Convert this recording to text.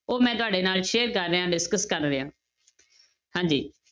ਉਹ ਮੈਂ ਤੁਹਾਡੇ ਨਾਲ share ਕਰ ਰਿਹਾਂ discuss ਕਰ ਰਿਹਾਂ ਹਾਂਜੀ।